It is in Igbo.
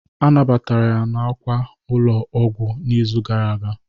A nabatara ya n'àkwà ụlọ ọgwụ n'izu gara aga